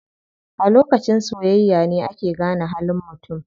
A lokacin soyayya ne ake gane halin mutum.